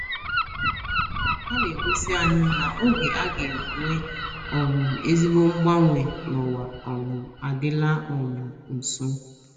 Ha na - egosi anyị na oge a ga - enwe um ezigbo mgbanwe n’ụwa um adịla um nso.